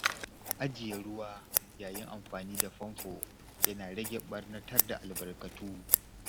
Ajiye ruwa yayin amfani da famfo yana rage ɓarnatar da albarkatu.